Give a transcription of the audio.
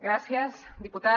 gràcies diputat